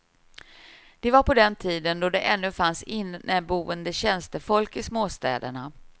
Det var på den tiden då det ännu fanns inneboende tjänstefolk i småstäderna.